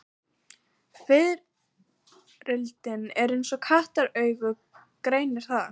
Fiðrildi eins og kattaraugað greinir það.